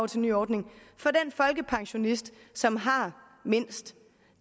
til ny ordning for den folkepensionist som har har mindst